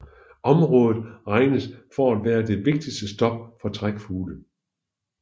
Området regnes for at være det vigtigste stop for trækfugle